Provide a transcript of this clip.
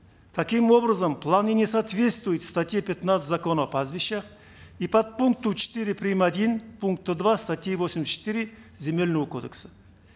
таким образом планы не соответствуют статье пятнадцать закона о пастбищах и подпункту четыре прим один пункта два статьи восемьдесят четыре земельного кодекса